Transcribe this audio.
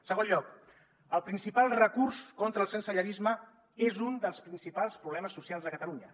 en segon lloc el principal recurs contra el sensellarisme és un dels principals problemes socials de catalunya